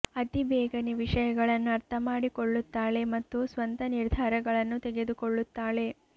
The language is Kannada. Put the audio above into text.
ಅತಿ ಬೇಗನೆ ವಿಷಯಗಳನ್ನು ಅರ್ಥ ಮಾಡಿಕೊಳ್ಳುತ್ತಾಳೆ ಮತ್ತು ಸ್ವಂತ ನಿರ್ಧಾರಗಳನ್ನು ತೆಗೆದುಕೊಳ್ಳುತ್ತಾಳೆ